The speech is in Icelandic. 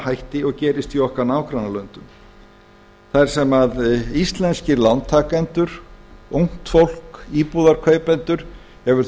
hætti og gerist í okkar nágrannalöndum þar sem íslenskir lántakendur ungt fólk íbúðarkaupendur hafa